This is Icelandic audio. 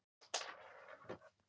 Ljóminn er farinn af náttúrunni.